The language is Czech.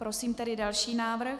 Prosím tedy další návrh.